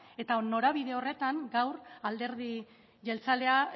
eta norabide horretan dago alderdi jeltzalea